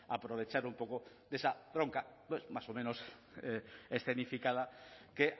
aprovechar un poco de esa bronca más o menos escenificada que